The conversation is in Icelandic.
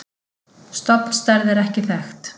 Stofnstærð er ekki þekkt.